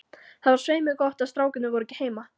Það var svei mér gott að strákarnir voru ekki heima.